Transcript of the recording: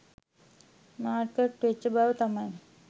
market වෙච්ච බව තමයි